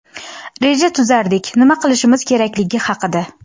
reja tuzardik nima qilishimiz kerakligi haqida.